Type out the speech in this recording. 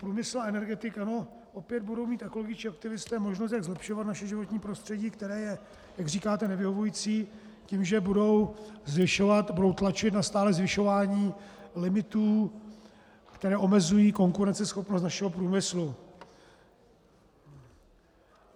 Průmysl a energetika, no, opět budou mít ekologičtí aktivisté možnost, jak zlepšovat naše životní prostředí, které je, jak říkáte, nevyhovující, tím, že budou zvyšovat, budou tlačit na stálé zvyšování limitů, které omezují konkurenceschopnost našeho průmyslu.